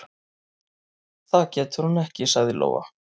"""Það getur hún ekki, sagði Lóa."""